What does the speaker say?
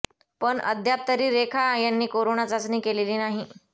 पण अद्याप तरी रेखा यांनी कोरोना चाचणी केलेली नाही